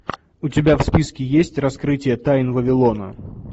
у тебя в списке есть раскрытие тайн вавилона